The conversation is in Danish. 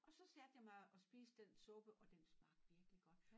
Og så satte jeg mig og spiste den suppe og smagte virkelig godt